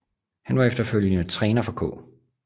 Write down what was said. Han var efterfølgende træner for K